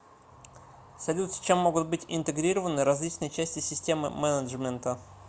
салют с чем могут быть интегрированы различные части системы менеджмента